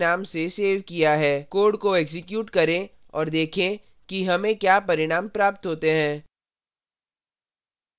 code को execute करें और देखें कि हमें क्या परिणाम प्राप्त होते हैं